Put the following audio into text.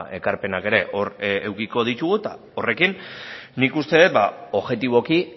ekarpenak ere hor edukiko ditugu eta horrekin nik uste dut objetiboki